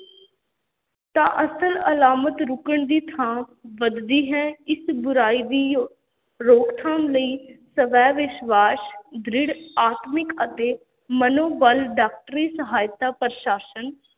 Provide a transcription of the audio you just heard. ਤਾਂ ਅਸਲ ਅਲਾਮਤ ਰੁਕਣ ਦੀ ਥਾਂ ਵਧਦੀ ਹੈ, ਇਸ ਬੁਰਾਈ ਦੀ ਰੋਕ-ਥਾਮ ਲਈ ਸਵੈ-ਵਿਸ਼ਵਾਸ, ਦ੍ਰਿੜ ਆਤਮਿਕ ਅਤੇ ਮਨੋ-ਬਲ, ਡਾਕਟਰੀ ਸਹਾਇਤਾ, ਪ੍ਰਸ਼ਾਸਨ,